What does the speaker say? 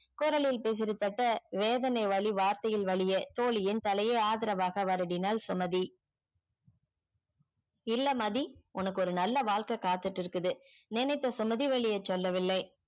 குரலில் பேசிற தட்ட வேதனை வழி வார்த்தையில் வழியே தோழியின் தலையே ஆதர்வாக வருடினால் சுமதி இல்ல மதி உனக்கு நல்ல வாழ்க்கை காத்துட்டு இருக்குது நினைத்த சுமதி வெளியே சொல்ல வில்லை